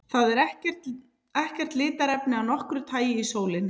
Það er ekkert litarefni af nokkru tagi í sólinni.